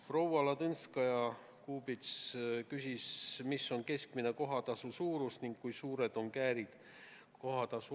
Proua Ladõnskaja-Kubits küsis, kui suur on keskmine kohatasu ning kui suured on kohatasude puhul käärid.